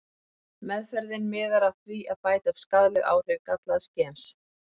Meðferðin miðar að því að bæta upp skaðleg áhrif gallaðs gens.